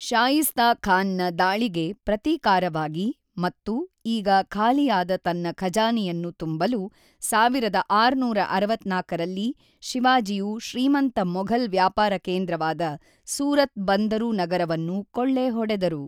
ಶಾಯಿಸ್ತಾ ಖಾನ್‌ನ ದಾಳಿಗೆ ಪ್ರತೀಕಾರವಾಗಿ ಮತ್ತು ಈಗ ಖಾಲಿಯಾದ ತನ್ನ ಖಜಾನೆಯನ್ನು ತುಂಬಲು, ೧೬೬೪ ರಲ್ಲಿ ಶಿವಾಜಿಯು ಶ್ರೀಮಂತ ಮೊಘಲ್ ವ್ಯಾಪಾರ ಕೇಂದ್ರವಾದ ಸೂರತ್ ಬಂದರು ನಗರವನ್ನು ಕೊಳ್ಳೆ ಹೊಡೆದರು.